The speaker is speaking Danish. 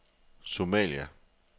Somalia